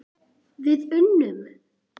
Við unnum!